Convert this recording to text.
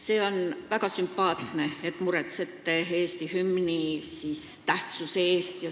See on väga sümpaatne, et te muretsete Eesti hümni tähtsuse pärast.